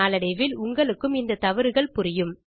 நாளடைவில் உங்களுக்கும் இந்த தவறுகள் புரியும்